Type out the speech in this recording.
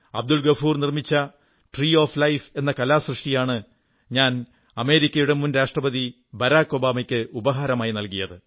അബ്ദുൾ ഗഫൂർ നിർമ്മിച്ച tree of life എന്ന കലാസൃഷ്ടിയാണ് ഞാൻ അമേരിക്കയുടെ മുൻ രാഷ്ട്രപതി ബരാക് ഒബാമയ്ക്ക് ഉപഹാരമായി നല്കിയത്